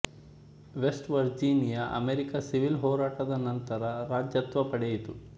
West Virginia America civil ಹೋರಾಟದ ನಂತರ ರಾಜ್ಯತ್ವ ಪಡೆಯಿತು